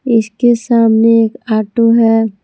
इसके सामने एक ऑटो है।